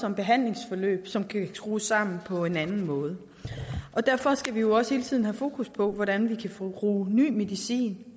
om behandlingsforløb som kan skrues sammen på en anden måde og derfor skal vi også hele tiden have fokus på hvordan vi kan bruge ny medicin